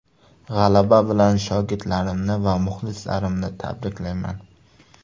G‘alaba bilan shogirdlarimni va muxlislarni tabriklayman.